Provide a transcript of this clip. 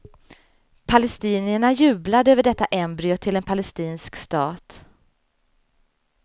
Palestinierna jublade över detta embryo till en palestinsk stat.